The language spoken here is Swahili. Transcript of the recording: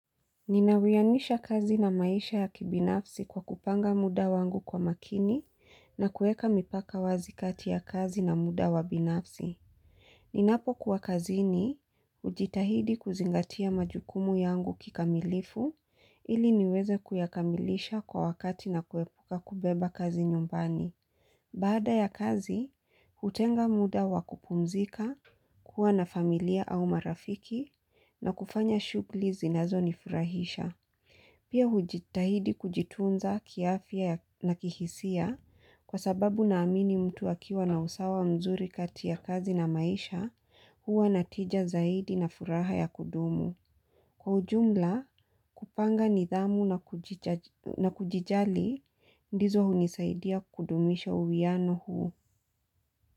Ninawianisha kazi na maisha ya kibinafsi kwa kupanga muda wangu kwa makini na kuweka mipaka wazi kati ya kazi na muda wa binafsi. Ninapo kuwa kazi ni hujitahidi kuzingatia majukumu yangu kikamilifu ili niweze kuyakamilisha kwa wakati na kuepuka kubeba kazi nyumbani. Baada ya kazi, hutenga muda wa kupumzika, kuwa na familia au marafiki na kufanya shughuli zinazonifurahisha. Pia hujitahidi kujitunza kiafyia na kihisia kwa sababu naamini mtu akiwa na usawa mzuri kati ya kazi na maisha huwa natija zaidi na furaha ya kudumu. Kwa ujumla kupanga nidhamu na kujijali ndizo hunisaidia kudumisha uwiano huu.